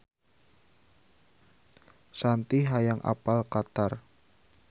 Shanti hoyong apal Qatar